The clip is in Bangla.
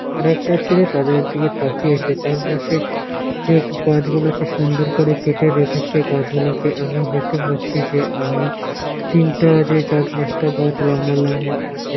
আর একটা ছেলে তাদের দিকে তাকিয়ে আছে চারপাশে যে গাছ গুলো আছে সুন্দর করে কেটে রেখেছে গাছ গুলোকে এবং দেখতে পাচ্ছি যে আমি তিনটা যে আছে চার পাঁচ টা গাছ লম্বা লম্বা আছে।